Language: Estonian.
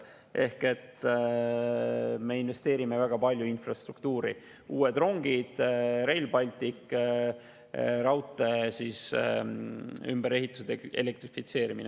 Ehk me investeerime väga palju infrastruktuuri: uutesse rongidesse, Rail Balticusse, raudtee ümberehitusse ja elektrifitseerimisse.